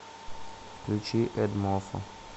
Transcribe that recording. включи эдмофо